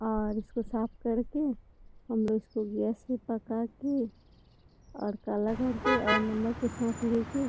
और इसको साफ कर के हमलोग इसको गैस से पका के और तड़का लगाके और नमक के साथ ले के --